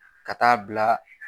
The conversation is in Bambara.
Ka taa bila